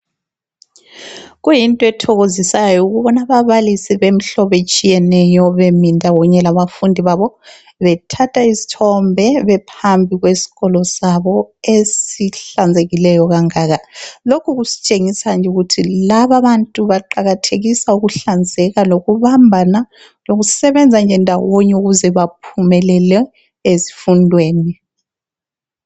Kuyinto ethokozisayo ukubona ababalisi bemhlobo etshiyeneyo bemi ndawonye laba fundi babo bethatha izthombe bephambi kweskolo sabo esihlanzekileyo kangaka. Lokhu kusitshengisa ukuthi laba bantu baqakathekisa ukuhlanzeka lokubambana lokusebenza nje ndawonye ukuze baphumelele ezifundweni